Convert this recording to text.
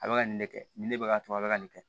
A bɛ ka nin de kɛ nin ne bɛ ka a bɛ ka nin kɛ